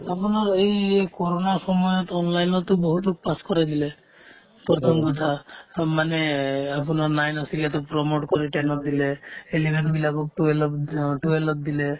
আপোনাৰ এই ক'ৰোণাৰ সময়ত online তো বহুতক pass কৰাই দিলে প্ৰথম কথা মানে এই আপোনাৰ nine আছিলেতো promote কৰি ten ত দিলে eleven বিলাকক twelve ত অ twelve ত দিলে